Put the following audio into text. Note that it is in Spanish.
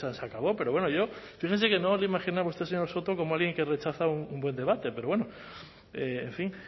sanseacabó pero bueno yo fíjese que no le imaginaba a usted señor soto como alguien que rechaza un buen debate pero bueno en fin